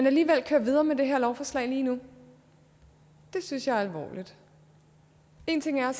alligevel køre videre med det her lovforslag lige nu det synes jeg er alvorligt én ting er